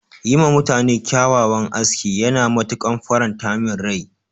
Yi ma mutane kyawawan aski yana matuƙan faranta min rai.